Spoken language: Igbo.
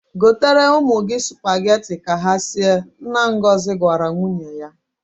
Gotere ụmụ gị sụpageti ka ha sie," nna Ngozi gwara nwunye ya.